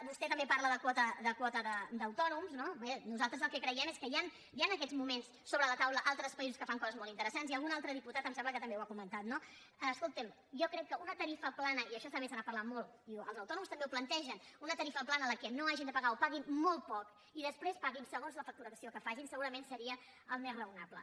vostè també parla de quota d’autònoms no bé nosaltres el que creiem és que hi ha en aquests moments sobre la taula altres països que fan coses molt interessants i algun altre diputat em sembla que també ho ha comentat no escolti’m jo crec que una tarifa plana i d’això també se n’ha parlat molt i els autònoms també ho plantegen en la qual no hagin de pagar o paguin molt poc i després paguin segons la facturació que facin segurament seria el més raonable